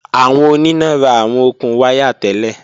Awọn onina ra awọn okun waya tẹlẹ.